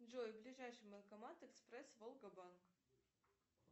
джой ближайший банкомат экспресс волга банк